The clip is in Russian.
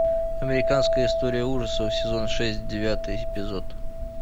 американская история ужасов сезон шесть девятый эпизод